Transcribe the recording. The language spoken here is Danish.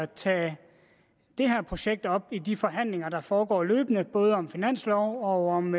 tage det her projekt op i de forhandlinger der foregår løbende både om finanslov og om